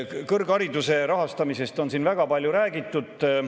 Kõrghariduse rahastamisest on siin väga palju räägitud.